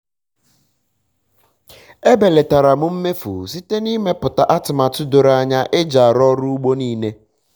e belatara m mmefu site na ịmeputa atụmatụ doro anya eji arụ ọrụ ugbo nile